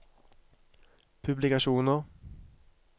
publikasjoner